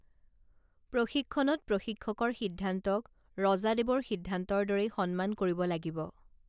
প্ৰশিক্ষণত প্ৰশিক্ষকৰ সিদ্ধান্তক ৰজাদেৱৰ সিদ্ধান্তৰ দৰেই সন্মান কৰিব লাগিব